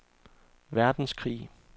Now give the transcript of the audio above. verdenskrig